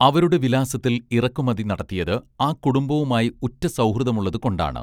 അവരുടെ വിലാസത്തിൽ ഇറക്കുമതി നടത്തിയത് ആ കുടുംബവുമായി ഉറ്റ സൗഹൃദമുള്ളതുകൊണ്ടാണ്